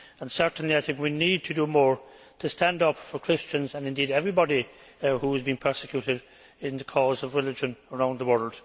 Certainly, we need to do more to stand up for Christians and indeed everybody who is being persecuted in the name of religion around the world.